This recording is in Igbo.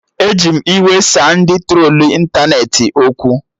Eji m iwe saa ndị trolu ịntanetị okwu